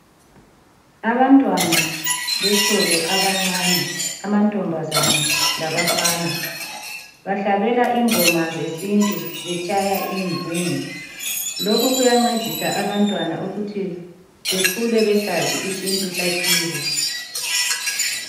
Abantwana besikolo abancane amantombazana labafana. Bahlabela ingoma zesintu betshaya ingungu. Lokhu kuyancedisa abantwana ukuthi bakhule besazi isintu sakibo.